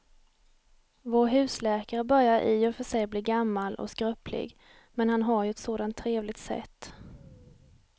Vår husläkare börjar i och för sig bli gammal och skröplig, men han har ju ett sådant trevligt sätt!